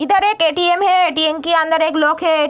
इधर एक ए.टी.एम. है ए.टी.एम. के अंदर एक लोग है।